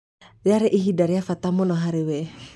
Rĩarĩ ihinda rĩa bata mũno harĩ we.